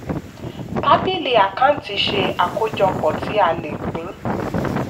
tábílì àkántì ṣe àkójọpọ̀ tí a le pín.